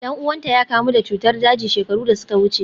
Dan uwanta ya kamu da cutar daji shekaru da suka wuce.